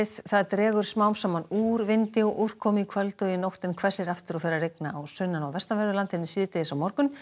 það dregur smám saman úr vindi og úrkomu í kvöld og nótt en hvessir aftur og fer að rigna á sunnan og vestanverðu landinu síðdegis á morgun